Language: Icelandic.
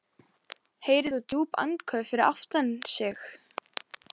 Heyrir djúp andköf fyrir aftan sig.